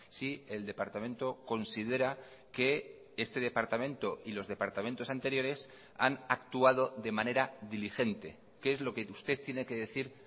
si el departamento considera que este departamento y los departamentos anteriores han actuado de manera diligente qué es lo que usted tiene que decir